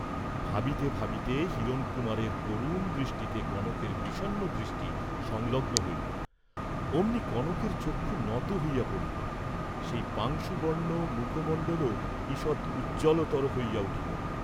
ভাবিতে ভাবিতে হিরণকুমারের করুণ দৃষ্টিতে কনকের বিষন্ন দৃষ্টি সংলগ্ন হইল, অমনি কনকের চক্ষু নত হইয়া পড়িল, সেই পাংশুবর্ণ মুখমণ্ডলও ঈষৎ উজ্জ্বলতর হইয়া উঠিল।